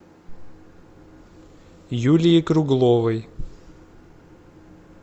юлии кругловой